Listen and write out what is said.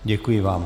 Děkuji vám.